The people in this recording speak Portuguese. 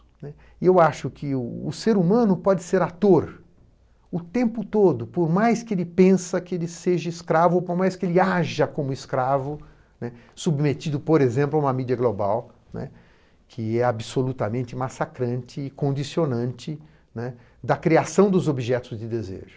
Né? Eu acho que o o ser humano pode ser ator o tempo todo, por mais que ele pensa que ele seja escravo, por mais que ele haja como escravo, né, submetido, por exemplo, a uma mídia global, né, que é absolutamente massacrante e condicionante, né, da criação dos objetos de desejo, né.